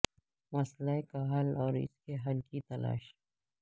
مسئلہ کا حل اور اس کے حل کی تلاش